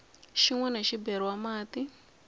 xin wana xi beriwa mati